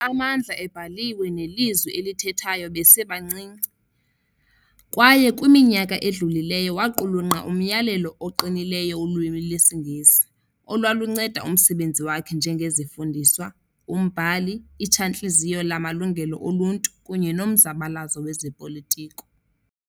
Ufundile amandla ebhaliwe nelizwi elithethwayo besebancinci, kwaye kwiminyaka edlulileyo waqulunqa umyalelo oqinileyo wolwimi lwesiNgesi, olwalunceda umsebenzi wakhe njengezifundiswa, umbhali, Itshantliziyo lamaLungelo oLuntu kunye nomzabalazo wezopolitiko.